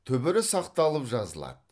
түбірі сақталып жазылады